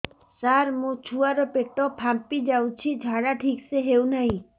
ସାର ମୋ ଛୁଆ ର ପେଟ ଫାମ୍ପି ଯାଉଛି ଝାଡା ଠିକ ସେ ହେଉନାହିଁ